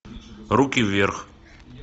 руки вверх